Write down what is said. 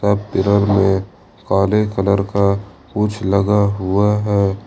अब पिलर में काले कलर का कुछ लगा हुआ है।